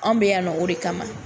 Anw bɛ yan nɔ o de kama